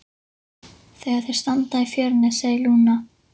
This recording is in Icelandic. Þegar þau standa í fjörunni segir Lúna